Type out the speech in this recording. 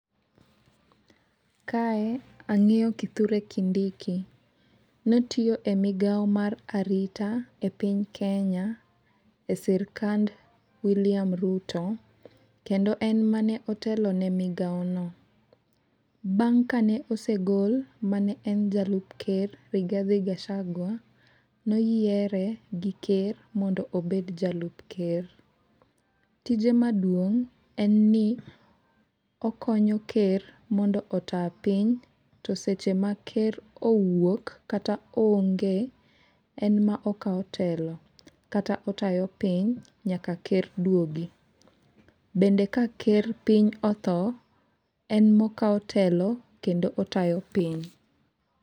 Kae ang'eyo kithure kindiki notiyo e migawo mar arita e piny kenya e sirikand wiliam Ruto kendo en mane otelo ne migawo no. Bang' kane osegol mane en jalup ker Rigadhi Gachagwa noyiere gi ker mondo obed jalup ker. Tije maduong' en ni okonyo ker mondo ota piny to seche ma ker owuok kata onge , en ma okawo telo kata otayo piny nyaka ker duogi. Bende ka ker piny otho, en mokawo telo kendo otayo piny.